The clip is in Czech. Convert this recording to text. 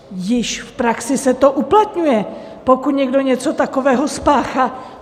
Již v praxi se to uplatňuje, pokud někdo něco takového spáchá.